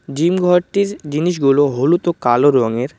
Gym ঘরটির জিনিসগুলো হলুদ ও কালো রঙের।